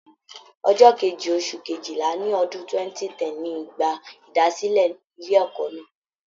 Ọjọ Kejì, oṣù Kejìlá ni ọdún 2010 ni ìgbà ìdásílẹ̀ ilé ẹ̀kọ́ náà.